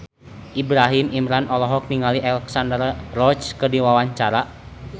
Ibrahim Imran olohok ningali Alexandra Roach keur diwawancara